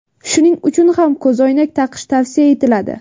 Shuning uchun ham ko‘zoynak taqish tavsiya etiladi.